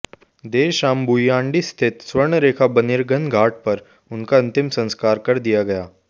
देर शाम भुइयांडीह स्थित सुवर्णरेखा बर्निंग घाट पर उनका अंतिम संस्कार कर दिया गया